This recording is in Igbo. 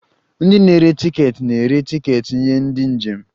Ndị na-ere tiketi na-ere tiketi nye ndị njem